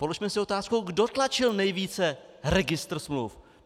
Položme si otázku, kdo tlačil nejvíce registr smluv.